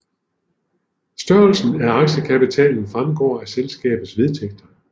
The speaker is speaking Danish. Størrelsen af aktiekapitalen fremgår af selskabets vedtægter